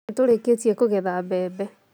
Nĩtũrĩkĩtie kũgetha mbembe